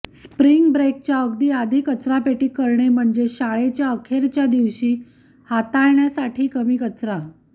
spring ब्रेकच्या अगदी आधी कचरापेटी करणे म्हणजे शाळेच्या अखेरच्या दिवशी हाताळण्यासाठी कमी कचरा